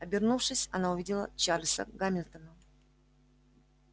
обернувшись она увидела чарлза гамильтона